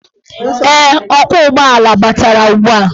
Ee, ọkwọụgbọala batara ugbua.